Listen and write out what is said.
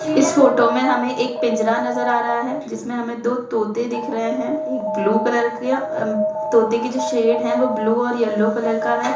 इस फोटो में हमें एक पिंजरा नजर आ रहा है जिसमे में हमें दो तोते दिख रहे हैं एक ब्लू कलर किया म तोते की जो शेड है वो ब्लू और येल्लो कलर का है।